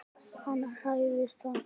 Hann hræðist það.